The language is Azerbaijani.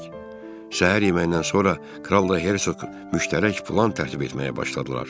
Səhər yeməyindən sonra Kral da Hersoq müştərək plan tərtib etməyə başladılar.